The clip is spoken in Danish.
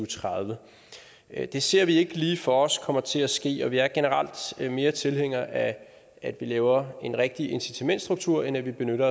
tredive det ser vi ikke lige for os kommer til at ske og vi er generelt mere tilhængere af at man laver en rigtig incitamentsstruktur end at man benytter